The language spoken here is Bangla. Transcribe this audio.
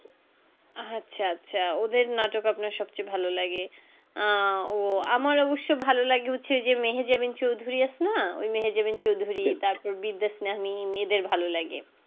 আচ্ছা আচ্ছা ওদের নাটক আপনার সব চেয়ে ভালো লাগে আহ ও আমার অবশ্য ভালো লাগে হচ্ছে যে মেহেজাবিন চৌধুরী আসে না ওই মেহেজাবিন চৌধুরী তার পর বিদ্যাশনামী মেয়েদের ভালো লাগে